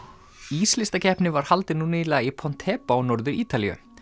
íslistakeppni var haldin nú nýlega í Pontebba á Norður Ítalíu